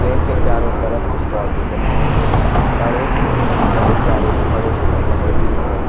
उनके चारों तरफ बाउंड्री बनी हुई है पड़ोस में बहुत सारे बड़े पेड़ लगे हुए हैं।